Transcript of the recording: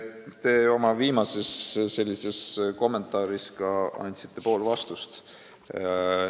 Te oma viimases kommentaaris ütlesite pool vastust ära.